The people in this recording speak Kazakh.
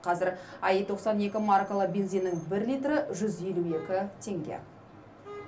қазір аи тоқсан екі маркалы бензиннің бір литрі жүз елу екі теңге